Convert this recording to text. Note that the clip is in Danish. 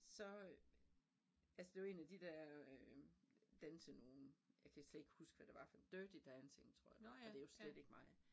Så øh altså det var 1 af de der øh dansenogen jeg kan slet ikke huske hvad det var for Dirty Dancing tror jeg og det jo slet ikke mig